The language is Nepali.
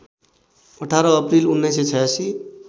१८ अप्रिल १९८६